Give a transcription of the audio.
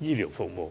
醫療服務。